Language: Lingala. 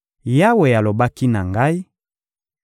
Yawe alobaki na ngai: